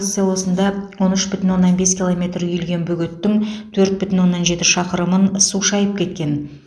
селосында он үш бүтін оннан бес километр үйілген бөгеттің төрт бүтін оннан жеті шақырымын су шайып кеткен